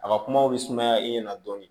A ka kumaw bɛ sumaya i ɲɛna dɔɔnin